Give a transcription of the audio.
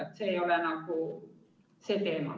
Ent see ei ole praegu see teema.